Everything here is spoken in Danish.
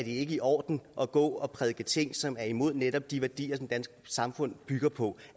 ikke i orden at gå og prædike ting som er imod netop de værdier det danske samfund bygger på